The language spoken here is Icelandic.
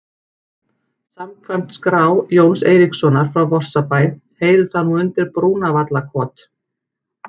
Samkvæmt skrá Jóns Eiríkssonar frá Vorsabæ heyrir það nú undir Brúnavallakot.